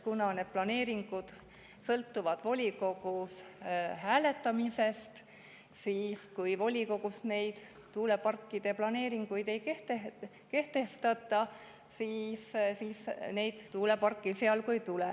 Need planeeringud sõltuvad volikogus hääletamisest ja kui volikogus tuuleparkide planeeringuid ei kehtestata, siis neid tuuleparke esialgu ei tule.